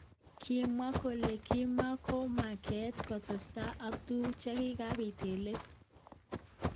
kimwa kole kimakombangat kotestai ak tukuk chekikabit eng let